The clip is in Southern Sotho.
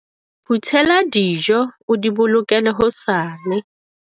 Phuthela dijo o di bolokele hosane.